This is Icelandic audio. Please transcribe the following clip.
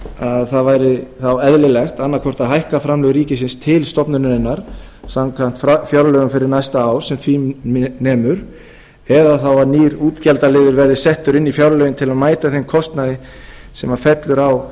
að það væri þá eðlilegt annaðhvort að hækka framlög ríkisins til stofnunarinnar samkvæmt fjárlögum fyrir næsta ár sem því nemur eða þá að nýr útgjaldaliður verði settur inn í fjárlögin til að mæta þeim kostnaði sem fellur á